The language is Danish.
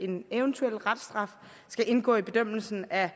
en eventuel reststraf skal indgå i bedømmelsen af